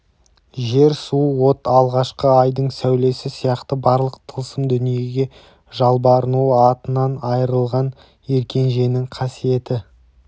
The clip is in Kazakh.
жер су от алғашқы айдың сәулесі сияқты барлық тылсым дүниеге жалбарынуы атынан айырылған еркенженің қасиетті